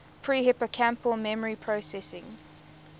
pre hippocampal memory processing